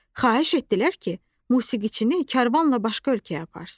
Xahiş etdilər ki, musiqiçini karvanla başqa ölkəyə aparsın.